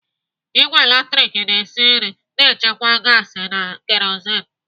Ìgwè latrik na-esi nri na-echekwa gaasi na kerozin.